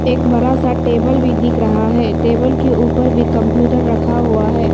एक बड़ा सा टेबल भी दिख रहा है टेबल के ऊपर भी कंप्यूटर रखा हुआ है।